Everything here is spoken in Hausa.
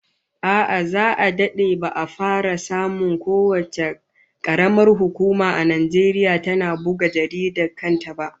A'a, za'a dade ba'a fara samun kowace karamar hukuma a Najeriya tana buga jaridar kanta ba